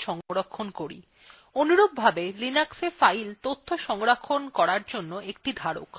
অনুরূপভাবে linuxa file তথ্য সংরক্ষণ করার জন্য একটি ধারক